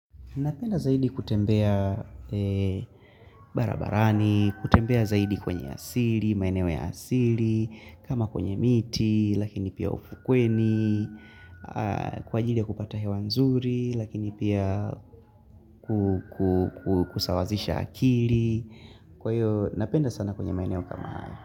Napenda zaidi kutembea barabarani, kutembea zaidi kwenye asili, maeneo ya asili, kama kwenye miti, lakini pia ufukweni, kwa ajili ya kupata hewa nzuri, lakini pia kusawazisha akili. Kwa hiyo, napenda sana kwenye maeneo kama haya.